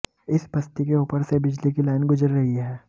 इस बस्ती के ऊपर से बिजली की लाइन गुजर रही है